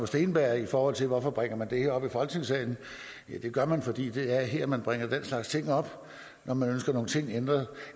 steenberg i forhold til hvorfor man bringer det her op i folketingssalen at det gør man fordi det er her man bringer den slags ting op når man ønsker nogle ting ændret